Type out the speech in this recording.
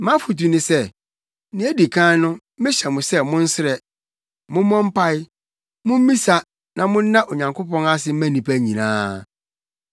Mʼafotu ne sɛ, nea edi kan no mehyɛ mo sɛ monsrɛ, mommɔ mpae, mummisa na monna Onyankopɔn ase mma nnipa nyinaa;